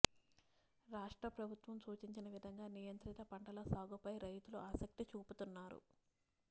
రాష్ట్ర ప్రభుత్వం సూచించిన విధంగా నియంత్రిత పంటల సాగుపై రైతులు ఆసక్తి చూపుతున్నారు